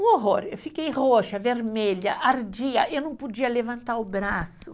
Um horror, eu fiquei roxa, vermelha, ardia, eu não podia levantar o braço.